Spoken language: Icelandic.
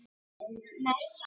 Stutt messa.